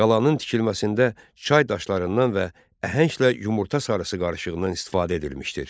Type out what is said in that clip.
Qalanın tikilməsində çay daşlarından və əhənglə yumurta sarısı qarışığından istifadə edilmişdir.